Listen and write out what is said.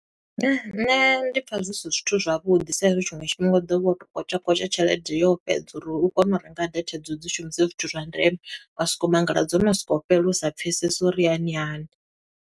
Nṋe ndi pfa zwi si zwithu zwavhuḓi sa i zwi tshiṅwe tshifhinga u ḓo vha wo to kwatsha kwatsha tshelede yo fhedza uri u kone u renga data i dzo, u dzi shumise zwithu zwa ndeme. Wa soko mangala dzo no sokou fhela u sa pfesesi uri hani hani.